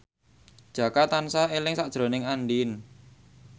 Jaka tansah eling sakjroning Andien